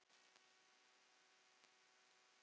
Og hvað var gert?